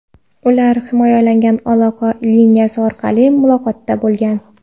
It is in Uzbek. Ular himoyalangan aloqa liniyasi orqali muloqotda bo‘lgan.